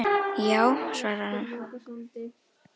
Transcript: Já svarar hann.